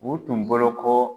U tun bolo ko.